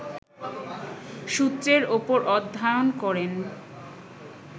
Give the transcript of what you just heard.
সূত্রের ওপর অধ্যায়ন করেন